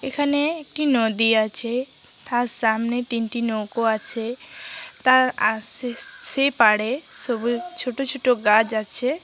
এখানে একটা নদী আছে। তার সামনে তিনটি নৌকো আছে । তার আশে সে-সেই পাড়ে সবুজ ছোটো ছোটো গাছ আছে ।